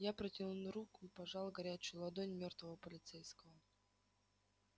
я протянул руку и пожал горячую ладонь мёртвого полицейского